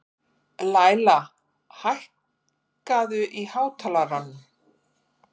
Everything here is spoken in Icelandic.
Læla, hækkaðu í hátalaranum.